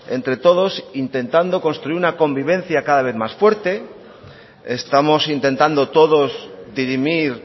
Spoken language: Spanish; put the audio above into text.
entre todos intentando construir una convivencia cada vez más fuerte estamos intentando todos dirimir